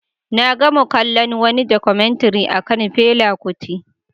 Na gama kallon wani Documentary akan Fela Kuti